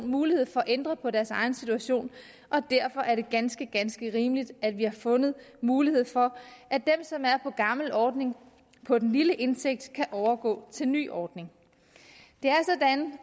mulighed for at ændre på deres egen situation og derfor er det ganske ganske rimeligt at vi har fundet mulighed for at de som er på den gamle ordning på den lille indtægt kan overgå til den nye ordning det er